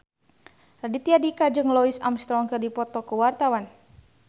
Raditya Dika jeung Louis Armstrong keur dipoto ku wartawan